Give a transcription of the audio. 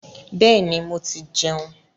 Bẹ́ẹ̀ni, mo ti jẹun.